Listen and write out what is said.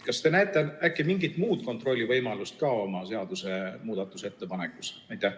Kas te näete ka mingit muud kontrollivõimalust oma seadusemuudatuse ettepanekus?